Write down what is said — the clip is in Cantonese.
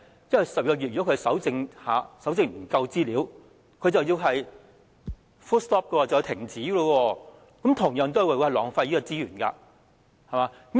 因為如果不能在12個月內蒐集足夠資料便須停止，這同樣也會浪費資源。